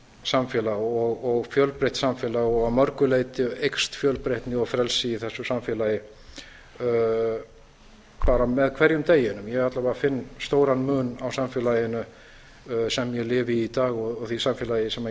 samfélag og fjölbreytt samfélag og að mörgu leyti eykst fjölbreytni og frelsi í þessu samfélagi bara með hverjum deginum ég finn alla vega stóran mun á samfélaginu sem ég lifi í í dag og því samfélagi sem ég